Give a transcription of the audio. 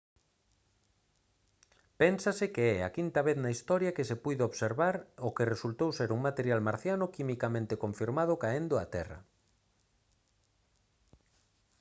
pénsase que é a quinta vez na historia que se puido observar o que resultou ser un material marciano quimicamente confirmado caendo á terra